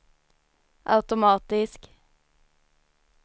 automatisk